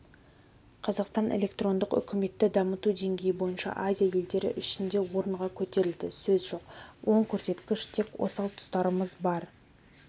қазақстан электрондық үкіметті дамыту деңгейі бойынша азия елдері ішінде орынға көтерілді сөз жоқ оң көрсеткіш тек осал тұстарымыз бар